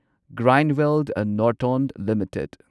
Grindwell Norton limited